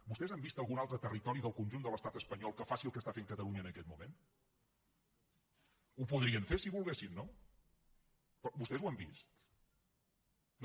vostès han vist algun altre territori del conjunt de l’estat espanyol que faci el que està fent catalunya en aquest moment ho podrien fer si volguessin no però vostès ho han vist no